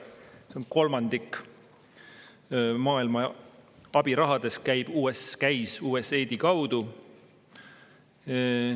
See on kolmandik maailma abirahast, see käis USAID-i kaudu.